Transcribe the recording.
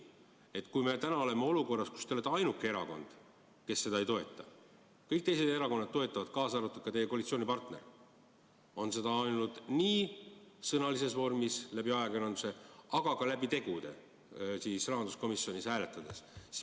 Me oleme praegu olukorras, kus teie erakond on ainuke, kes seda ettepanekut ei toeta, kõik teised erakonnad toetavad, kaasa arvatud teie koalitsioonipartner, kes on seda öelnud nii sõnalises vormis läbi ajakirjanduse kui ka tegude kaudu rahanduskomisjonis hääletades.